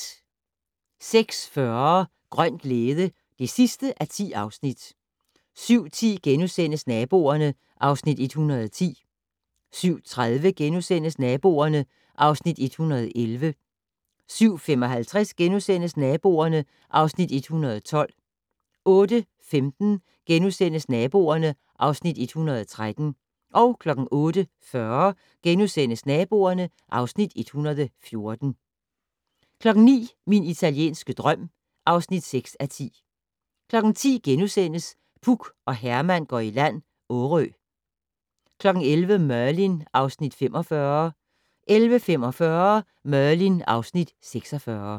06:40: Grøn glæde (10:10) 07:10: Naboerne (Afs. 110)* 07:30: Naboerne (Afs. 111)* 07:55: Naboerne (Afs. 112)* 08:15: Naboerne (Afs. 113)* 08:40: Naboerne (Afs. 114)* 09:00: Min italienske drøm (6:10) 10:00: Puk og Herman går i land - Årø (4:8)* 11:00: Merlin (Afs. 45) 11:45: Merlin (Afs. 46)